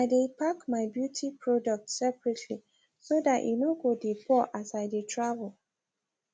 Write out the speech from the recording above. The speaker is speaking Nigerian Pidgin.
i dae pack my beauty products separately so that e no go dae pour as i dae travel